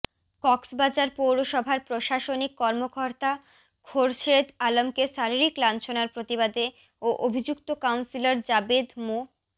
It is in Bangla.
কক্সবাজার পৌরসভার প্রশাসনিক কর্মকর্তা খোরশেদ আলমকে শারীরিক লাঞ্ছনার প্রতিবাদে ও অভিযুক্ত কাউন্সিলর জাবেদ মো